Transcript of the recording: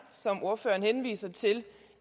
som ordføreren henviser til